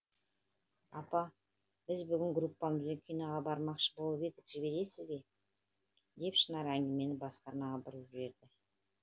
апа біз бүгін группамызбен киноға бармақшы болып едік жібересіз бе деп шынар әңгімені басқа арнаға бұрып жіберді